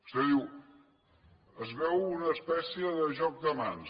vostè diu es veu una espècie de joc de mans